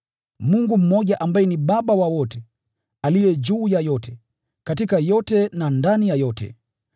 Mungu mmoja ambaye ni Baba wa wote, aliye juu ya yote, katika yote na ndani ya yote.